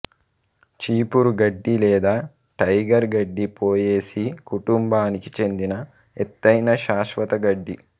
చీపురు గడ్డి లేదా టైగర్ గడ్డి పోయేసీ కుటుంబానికి చెందిన ఎత్తైన శాశ్వత గడ్డి